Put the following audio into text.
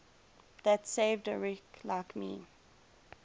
that saved a wretch like me